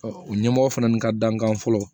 o ɲɛmɔgɔ fana n ka dankan fɔlɔ